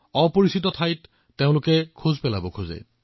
অজ্ঞাতে ঠাইত খোজ দিব বিচাৰে